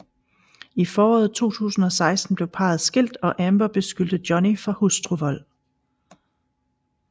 I foråret 2016 blev parret skilt og Amber beskyldte Johnny for hustruvold